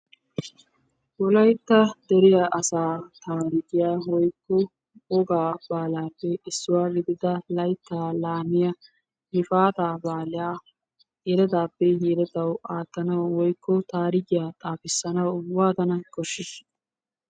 wolaytta dere asaa taarikkiya woykko wogaa baalaappe isssuwa gididda laytaa laamiya gifaataa baaliya yeletaappe yeletawu aatanawu woykko taarikiya xaafissanawu waatana koshiisha?